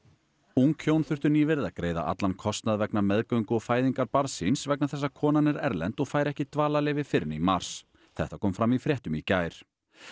ung hjón þurftu nýverið að greiða allan kostnað vegna meðgöngu og fæðingar barns síns vegna þess að konan er erlend og fær ekki dvalarleyfi fyrr en í mars þetta kom fram í fréttum í gær